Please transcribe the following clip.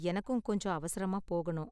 எனக்கும் கொஞ்சம் அவசரமா போகணும்